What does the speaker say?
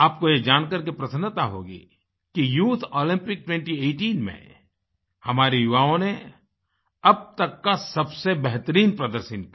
आपको ये जान करके प्रसन्नता होगी कि यूथ ओलम्पिक्स 2018 में हमारे युवाओं ने अब तक का सबसे बेहतरीन प्रदर्शन किया